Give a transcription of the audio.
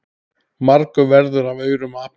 Margur verður af aurum api.